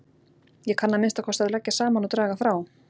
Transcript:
Ég kann að minnsta kosti að leggja saman og draga frá